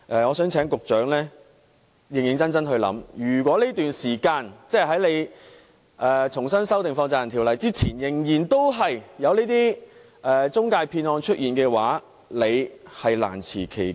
我希望局長認真考慮，如果當局重新修訂《條例》之前，仍然出現財務中介騙案的話，局長是難辭其咎。